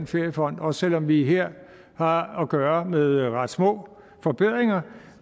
feriefonden også selv om vi her har at gøre med ret små forbedringer